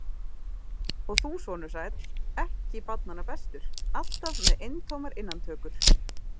Og þú, sonur sæll, ekki barnanna bestur, alltaf með eintómar innantökur!